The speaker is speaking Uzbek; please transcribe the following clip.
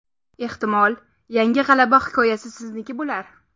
Ehtimol, yangi g‘alaba hikoyasi sizniki bo‘lar!